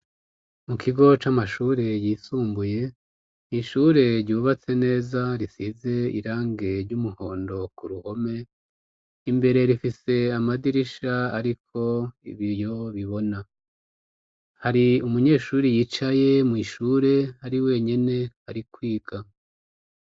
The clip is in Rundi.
Mu kigo c'amashure yisumbuye n'ishure ryubatse neza risize irangi ry'umuhondo ku ruhome. Imbere rifise amadirisha ariko ibiyo bibona hari umunyeshuri yicaye mw'ishure ari wenyene ari kwiga.